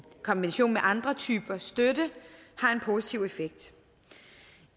kombination med andre typer støtte har en positiv effekt